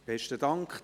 Besten Dank.